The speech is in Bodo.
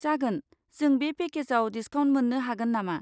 जागोन, जों बे पेकेजाव डिस्काउन्ट मोन्नो हागोन नामा?